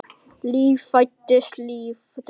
Líf fæðist, líf deyr.